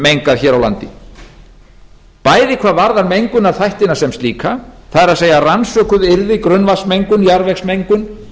mengað hér á landi bæði hvað varðar mengunarþættina sem slíka það er rannsökuð yrði grunnvatnsmengun jarðvegsmengun